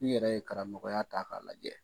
N'i yɛrɛ ye karamɔgɔya ta k'a lajɛ